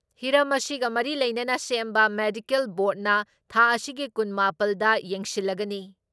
ꯍꯤꯔꯝ ꯑꯁꯤꯒ ꯃꯔꯤ ꯂꯩꯅꯅ ꯁꯦꯝꯕ ꯃꯦꯗꯤꯀꯦꯜ ꯕꯣꯔꯗꯅ ꯊꯥ ꯑꯁꯤꯒꯤ ꯀꯨꯟ ꯃꯥꯄꯜ ꯗ ꯌꯦꯡꯁꯤꯜꯂꯒꯅꯤ ꯫